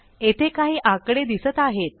येथे काही आकडे दिसत आहेत